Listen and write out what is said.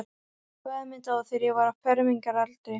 Faðir minn dó, þegar ég var á fermingaraldri.